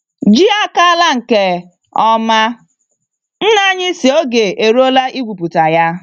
Ji akala nke oma; nna anyị sị oge eruola igwu pụta ya.